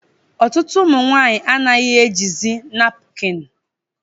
Ọtụtụ ụmụ nwanyị anaghị ejizi napukin